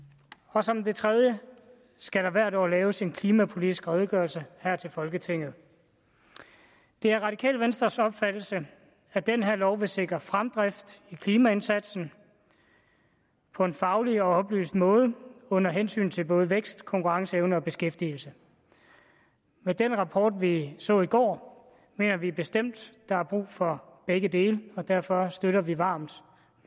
og som det tredje skal der hvert år laves en klimapolitisk redegørelse her til folketinget det er radikale venstres opfattelse at den her lov vil sikre fremdrift i klimaindsatsen på en faglig og oplyst måde under hensyn til både vækst konkurrenceevne og beskæftigelse med den rapport vi så i går mener vi bestemt at der er brug for begge dele derfor støtter vi varmt